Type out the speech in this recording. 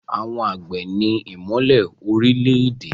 Àwọn àgbẹ̀ ni ìmọ́lẹ̀ orílẹ̀-èdè.